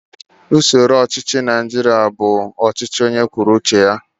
Usoro ọchịchị Naijiria bụ ọhakarasị